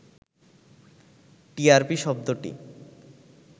TRP শব্দটি